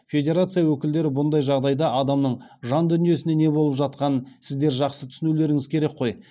федерация өкілдері бұндай жағдайда адамның жан дүниесіне не болып жатқанын сіздер жақсы түсінулеріңіз керек қой